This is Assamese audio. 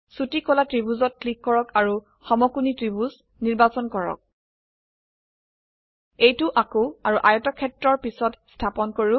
ছোটি কলা ত্ৰিভুজত ক্লিক কৰক আৰু সমকোণী ত্ৰিভুজ ৰাইট ট্ৰায়াংলে নিৰ্বাচন কৰক এইটো আঁকু আৰু আয়তক্ষেত্ৰৰ পিছত স্থাপন কৰো